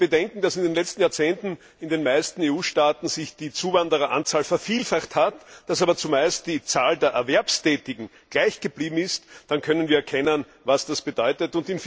Wenn wir bedenken, dass sich in den letzten Jahrzehnten in den meisten EU Staaten die Zuwandereranzahl vervielfacht hat, dass aber zumeist die Zahl der Erwerbstätigen gleich geblieben ist, dann können wir erkennen, was das bedeutet.